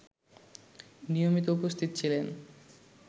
নিয়মিত উপস্থিত ছিলেন